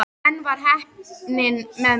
En enn var heppnin með mér.